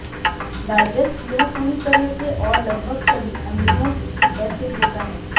digest यह पूरी तरह से और लगभग सभी अमीनो एसिड होता है